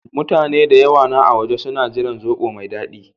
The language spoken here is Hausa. Mutane da yawa na a waje suna jiran zobo na mai dadi.